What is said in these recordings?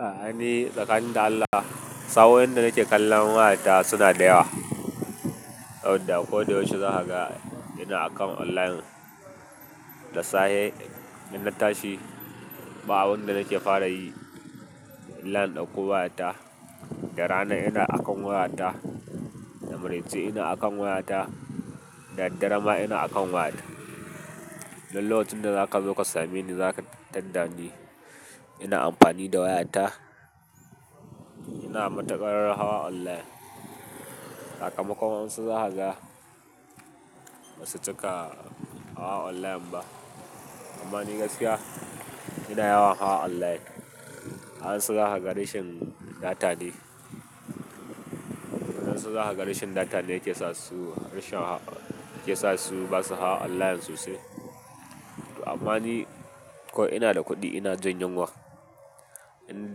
A'a ni tsakani da Allah sao'in da nake kallon wayata suna da yawa. Saboda a ko da yaushe za ka ga ina akan online. Da safe in tashi, ba'a abinda nake fara yi, illa in dauko wayata. Da rana ina akan wayata, da maraice ina akan wayata, da dare ma ina akan wayata. Duk lokacin ocin da zaka zo ka same ni zaka taddani ina amfani da wayata. Ina matukar hawa online. Sakamakon wasu za kaga ba su cika hawa online ba. Amma ni gaskiya ina yawan hawa online. Amm wa'yansu za kaga rashin data ne. Wayansu zakaga rashin data ne yake sa su, rashin ke sa su ba su hawa online sosai. Amma ni ko ina da kuɗi ina jinyunwa in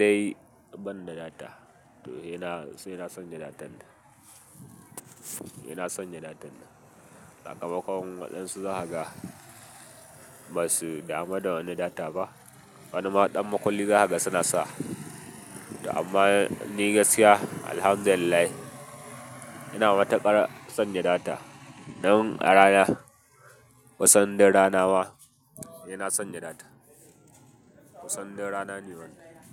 dai ban da data to sai na son ya data na. Ina son ya data na. Sakamakon waɗansu za kaga ba su damu da wani data ba. Wani ma ɗan makulli zahaga suna sa. Amma ni gaskiya Alhamdulillah ina matukar san ya data. Don a rana kusan duk rana ma saina san ya data. Kusan duk rana ne wannan.